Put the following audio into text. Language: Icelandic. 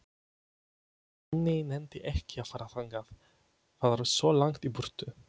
Nonni nennti ekki að fara þangað, það var svo langt í burtu.